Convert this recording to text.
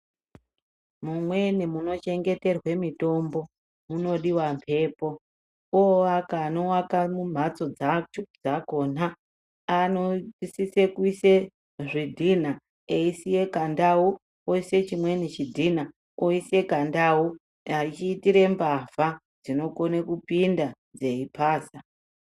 Mumweni munochengeterwe mitombo munodiwa mbepo. Oaka anoaka mhatso dzakona anosise kuise zvidhinha eisiye kandau, oise chimweni chidhina oise kandau. Achiitire mbavha dzinokone kupinda dzeipaza.